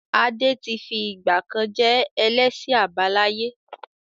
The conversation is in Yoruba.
Adé tí fìgbàkan je ẹlẹ́sìn àbáláyé.